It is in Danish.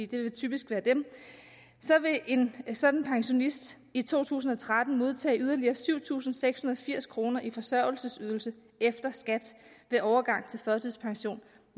det vil typisk være dem vil en sådan pensionist i to tusind og tretten modtage yderligere syv tusind seks hundrede og firs kroner i forsørgelsesydelse efter skat ved overgang